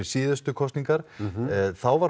síðustu kosningar þá var